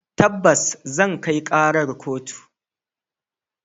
Tabbas zan kai karar kotu.